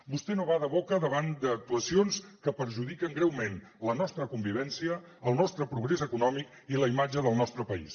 vostè no bada boca davant d’actuacions que perjudiquen greument la nostra convivència el nostre progrés econòmic i la imatge del nostre país